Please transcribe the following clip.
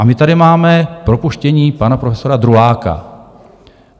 A my tady máme propuštění pana profesora Druláka.